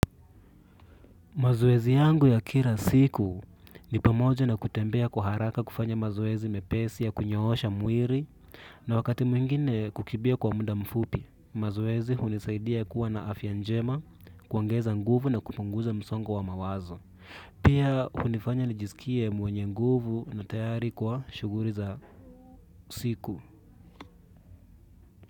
Mazoezi yangu ya kila siku ni pamoja na kutembea kuharaka kufanya mazoezi mepesi ya kunyoosha mwili na wakati mwingine kukimbia kwa muda mfupi. Mazoezi hunisaidia kuwa na afya njema kuongeza nguvu na kupunguza msongo wa mawazo. Pia hunifanya nijisikie mwenye nguvu na tayari kwa shughuli za siku.